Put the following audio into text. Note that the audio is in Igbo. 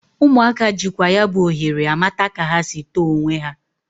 Ụmụaka jịkwa ya bụ ohere amata ka ha sị tọọ onwe ha.